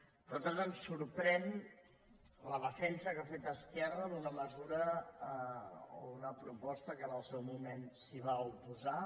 a nosaltres ens sorprèn la defensa que ha fet esquerra d’una mesura o d’una proposta que en el seu moment s’hi va oposar